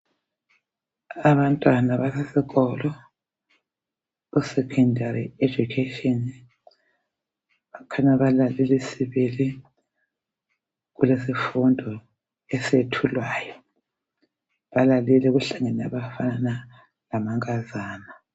Abantwana basesikolo esecondary education bakhanya balalele sibili isifundo esethulwayo. Balalele kuhlangene abafana lamankazana.